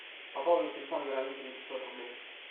пополнить телефон вероники на пятьсот рублей